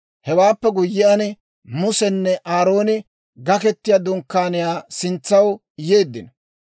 Hewaappe guyyiyaan, Musenne Aarooni Gaketiyaa Dunkkaaniyaa sintsaw yeeddino.